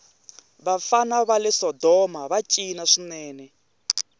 vafana vale sodomava cina swinene